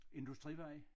Industrivej